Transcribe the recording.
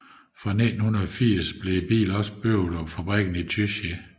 Fra 1980 blev bilen også bygget på fabrikken i Tychy